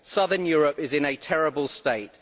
Southern Europe is in a terrible state.